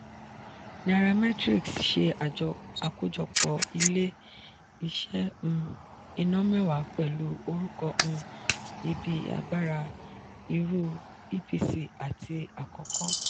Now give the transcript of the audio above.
nairametrics ṣe àkójọpọ̀ ilé-iṣẹ́ um iná mẹ́wàá pẹlu orúkọ um ibi agbára iru epc àti akoko.